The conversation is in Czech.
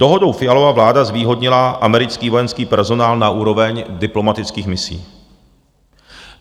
Dohodou Fialova vláda zvýhodnila americký vojenský personál na úroveň diplomatických misí.